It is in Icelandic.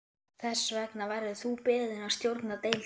Þess vegna verður þú beðinn að stjórna deildinni